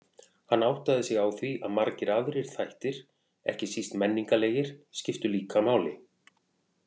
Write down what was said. Hann áttaði sig á því að margir aðrir þættir, ekki síst menningarlegir, skiptu líka máli.